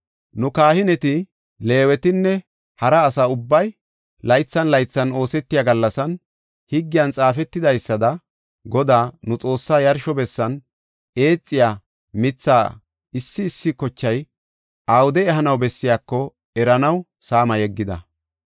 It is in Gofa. “Nu, kahineti, Leewetinne hara asa ubbay, laythan laythan oosetiya gallasan, higgiyan xaafetidaysada Godaa, nu Xoossaa yarsho bessan eexiya mithaa issi issi kochay awude ehanaw bessiyako eranaw saama yeggida.